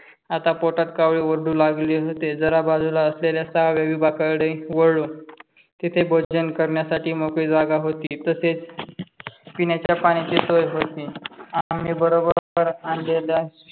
आता पोटात कावळे ओरडू लागले होते. जरा बाजूला असलेल्या सहाव्या विभागाकडे वळलो. तिथे भोजन करण्यासाठी मोकळी जागा होती. तसेच पिण्याच्या पाण्याची सोय होती. आम्ही बरोबर आणलेल्या